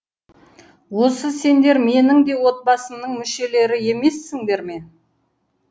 осы сендер менің де отбасымның мүшелері емессіңдер ме